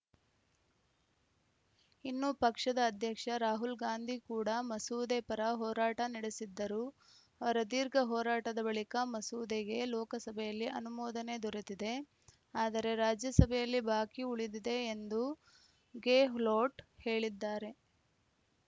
ಇನ್ನು ಪಕ್ಷದ ಅಧ್ಯಕ್ಷ ರಾಹುಲ್‌ ಗಾಂಧಿ ಕೂಡಾ ಮಸೂದೆ ಪರ ಹೋರಾಟ ನಡೆಸಿದ್ದರು ಅವರ ದೀರ್ಘ ಹೋರಾಟದ ಬಳಿಕ ಮಸೂದೆಗೆ ಲೋಕಸಭೆಯಲ್ಲಿ ಅನುಮೋದನೆ ದೊರೆತಿದೆ ಆದರೆ ರಾಜ್ಯಸಭೆಯಲ್ಲಿ ಬಾಕಿ ಉಳಿದಿದೆ ಎಂದು ಗೆಹ್ಲೋಟ್‌ ಹೇಳಿದ್ದಾರೆ